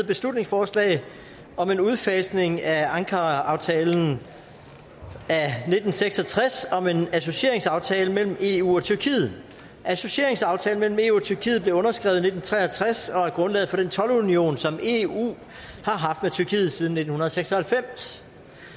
beslutningsforslag om en udfasning af ankaraaftalen af nitten seks og tres om en associeringsaftale mellem eu og tyrkiet associeringsaftalen mellem eu og tyrkiet blev underskrevet i nitten tre og tres og er grundlaget for den toldunion som eu har haft med tyrkiet siden nitten seks og halvfems